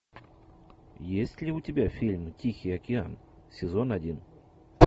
есть ли у тебя фильм тихий океан сезон один